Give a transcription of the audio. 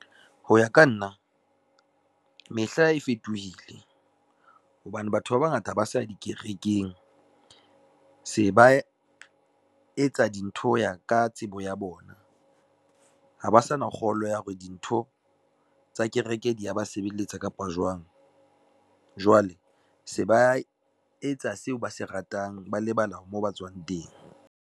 Ho ya ka nna, mehla e fetohile hobane batho ba bangata ha ba sa ya dikerekeng, se ba etsa dintho ho ya ka tsebo ya bona. Ha ba sa na kgolo ya hore dintho tsa kereke di ya ba sebeletsa kapa jwang, jwale se ba etsa seo ba se ratang, ba lebala moo ba tswang teng.